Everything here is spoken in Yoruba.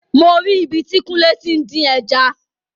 Mo ri ibi tí kúnlé tí ń dín ẹja